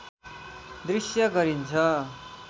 दृश्य गरिन्छ